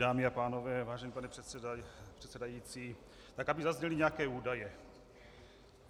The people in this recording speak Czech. Dámy a pánové, vážený pane předsedající, tak aby zazněly nějaké údaje.